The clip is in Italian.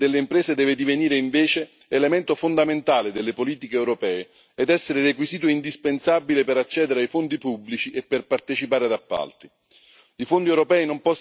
La responsabilità sociale delle imprese deve divenire invece elemento fondamentale delle politiche europee ed essere un requisito indispensabile per accedere ai fondi pubblici e per partecipare ad appalti.